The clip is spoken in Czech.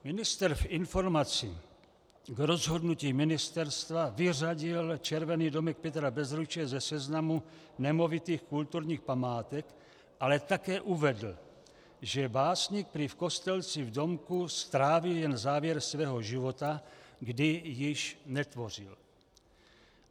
Ministr v informaci k rozhodnutí Ministerstva vyřadil Červený domek Petra Bezruče ze seznamu nemovitých kulturních památek ale také uvedl, že básník prý v Kostelci v domku strávil jen závěr svého života, kdy již netvořil.